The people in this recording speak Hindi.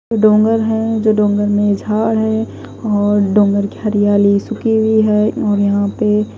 डोंगर है जो डोंगर में झाड़ है और डोंगर की हरियाली सुखी हुई है और यहां पे--